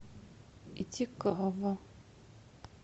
итикава